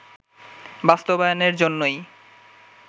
বাস্তবায়নের জন্যই